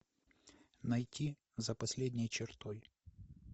найти за последней чертой